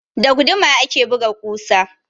Da guduma ake buga ƙusa.